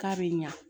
K'a bɛ ɲa